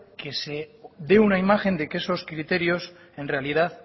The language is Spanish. que se dé una imagen de que esos criterios en realidad